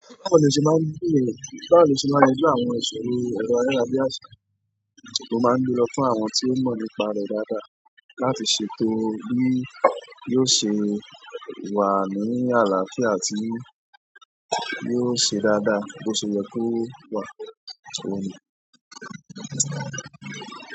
Báwo ni o ṣe máa ń gbé nílẹ̀? Báwo ni o ṣe máa ń yanjú àwọn ìṣòro, ẹrọ ayára bí àsà, nítorí ó máa ń dúró fún àwọn tí ó mọ̀ nípa rẹ̀ dáadáa láti ṣètò bí yóò ṣe wà ní àlàáfíà àti bí yóò ṣe dáadáa bó ṣe yẹ kó wà so.